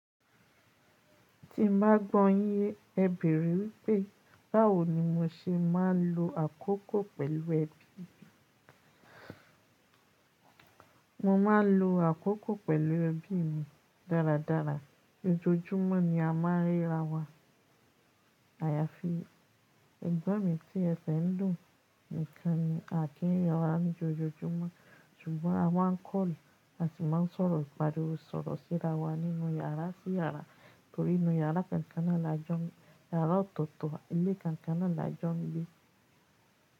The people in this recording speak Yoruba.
Ti bá gbọ́ yín ye, ẹ bèèrè wípé báwo ni mo ṣe máa ń lo àkókò pẹ̀lú ẹbí mi. Mo máa ń lo àkókò pẹ̀lú ẹbí mi dáradára. Ojoojúmọ́ ni a máa rí ra wa. Àyàfi ẹ̀gbọ́n mi tí ẹsẹ́ dun, nìkan ni à kí ri ra wa ní lojoojúmọ́. Ṣùgbọ́n a máa ń kọ́lù àti máa sọ̀rọ̀ ìgbàdùú sọ̀rọ̀ síra wa nínú yàrá sí yàrá torí inú yàrá kankan náà la jọ́ń yàrá ọ̀tọ̀ọ̀tọ̀, ilé kankan náà la jọ́ń gbé.